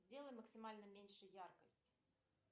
сделай максимально меньше яркость